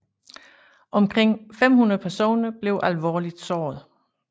Omkring 500 personer blev alvorligt såret